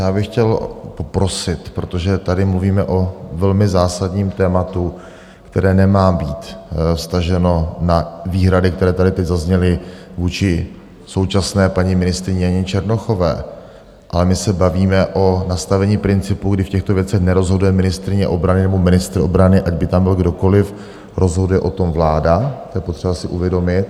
Já bych chtěl poprosit, protože tady mluvíme o velmi zásadním tématu, které nemá být vztaženo na výhrady, které tady teď zazněly vůči současné paní ministryni Janě Černochové, ale my se bavíme o nastavení principu, kdy v těchto věcech nerozhoduje ministryně obrany nebo ministr obrany, ať by tam byl kdokoliv, rozhoduje o tom vláda, to je potřeba si uvědomit.